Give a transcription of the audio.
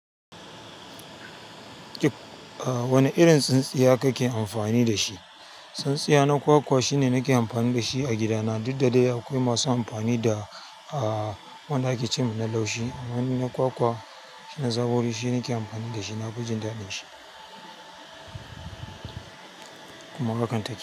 Wane irin tsintsiya kake amfani da shi? Tsintsiya na kwakwa shine nake amfani da shi a gidana, duk da dai akwai masu amfani da wanda ake ce mana laushi. Amma ni na kwakwa, shine na zabo dashi nake nake amfani da shi na kujenda dashi. Kuma hakan take.